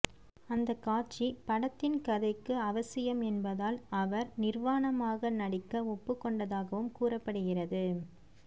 அந்த காட்சி படத்தின் கதைக்கு அவசியம் என்பதால் அவர் நிர்வாணமாக நடிக்க ஒப்புக் கொண்டதாகவும் கூறப்படுகிறது